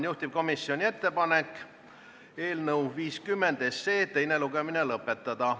Juhtivkomisjoni ettepanek on eelnõu 50 teine lugemine lõpetada.